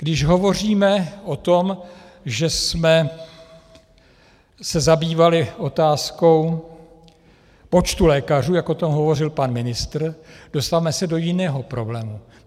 Když hovoříme o tom, že jsme se zabývali otázkou počtu lékařů, jak o tom hovořil pan ministr, dostáváme se do jiného problému.